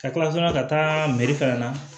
Ka kila ka sɔn ka taa meri fana na